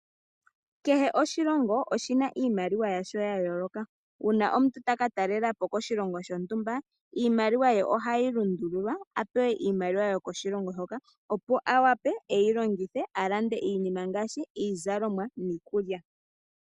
Kehe oshilongo oshina iimaliwa yasho ya yooloka uuna omuntu taka talelapo koshilongo shontumba iimaliwa ye ohai lundulwa apewe iimaliwa yoko shilongo shoka opo owape eyi longithe alande iinima ngaashi izalomwa niikulya.